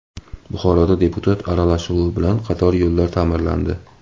Buxoroda deputat aralashuvi bilan qator yo‘llar ta’mirlandi.